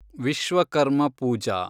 Vishwakarma Pooja